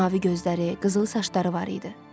Mavi gözləri, qızıl saçları var idi.